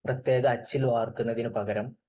പ്രത്യേക അച്ചിൽ വാർക്കുന്നതിന് പകരം